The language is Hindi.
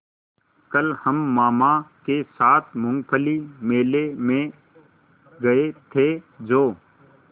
कल हम मामा के साथ मूँगफली मेले में गए थे जो